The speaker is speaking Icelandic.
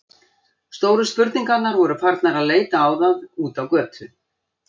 Stóru spurningarnar voru farnar að leita á það úti á götu.